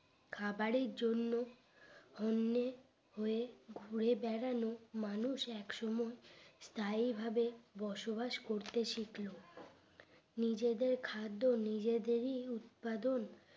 খাবারের জন্য হন্যে হয়ে ঘুরে বেরালে মানুষ এক সময় স্থায়ী ভাবে বসবাস করতে শিকল নিজেদের খাদ্য নিজেদেরই উৎপাদন